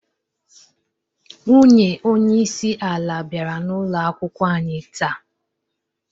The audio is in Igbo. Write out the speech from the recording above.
Nwunye onyeisi ala biara n'ụloakwụkwo anyi taa.